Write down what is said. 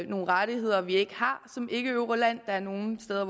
nogle rettigheder vi ikke har som ikkeeuroland der er nogle steder